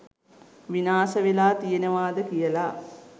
විනාශ වෙලා තියෙනවාද කියලා.